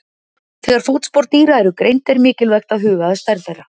Þegar fótspor dýra eru greind er mikilvægt að huga að stærð þeirra.